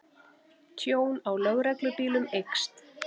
Tjón á lögreglubílum eykst